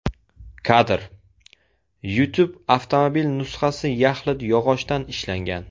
Kadr: YouTube Avtomobil nusxasi yaxlit yog‘ochdan ishlangan.